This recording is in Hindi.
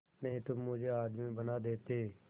नहीं तो मुझे आदमी बना देते